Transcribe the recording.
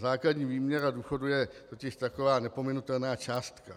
Základní výměra důchodu je totiž taková nepominutelná částka.